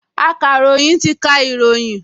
Akàròyìn ti ka ìròyìn